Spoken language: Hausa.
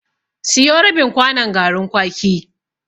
Siyo rabin kwanon garin kwaki.